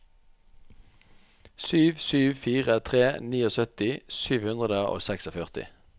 sju sju fire tre syttini sju hundre og førtiseks